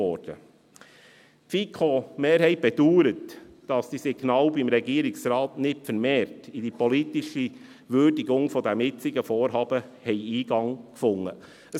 Die FiKo-Mehrheit bedauert, dass diese Signale beim Regierungsrat nicht vermehrt in die politische Würdigung des jetzigen Vorhabens Eingang gefunden haben.